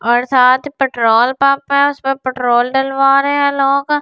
साथ petrol pump है उसमे पेट्रोल डलवा रहे है लोग और ये।